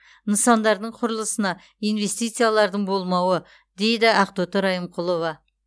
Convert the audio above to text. нысандардың құрылысына инвестициялардың болмауы дейді ақтоты райымқұлова